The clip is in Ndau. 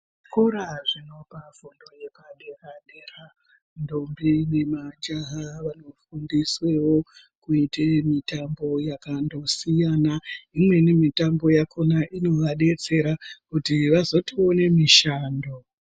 Zvikora zvinopa fundo yepadera-dera ndombi nemajaha varikufundiswewo kuite mitambo yakandosiyana. Imweni mitambo yakona inovadetsera kuti vazotoone mishando.